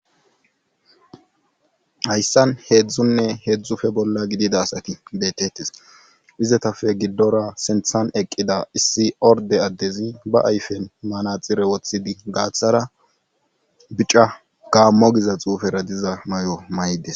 hayssan heedzdzunne heedzdzufe bolla gidida asati beetettes izetafe giddora senthan eqqida issi orde addezi ba ayfen manaxire woththidi gaaththara bica gaammo giza xuufera diza may7o may7des